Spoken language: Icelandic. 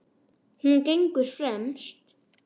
Hún gengur fremst.